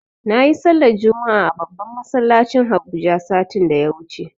Nayi sallar juma'a a babban masallacin habuja satin da ya wuce